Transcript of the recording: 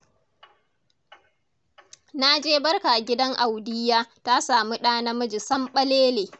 Na je barka gidan Audiyya ta samu ɗa namiji samɓalele.